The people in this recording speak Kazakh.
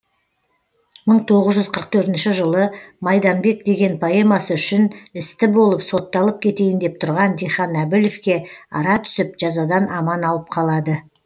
мың тоғыз жүз қырық төртінші жылы майданбек деген поэмасы үшін істі болып сотталып кетейін деп тұрған дихан әбілевке ара түсіп жазадан аман алып қалады